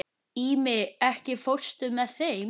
Ími, ekki fórstu með þeim?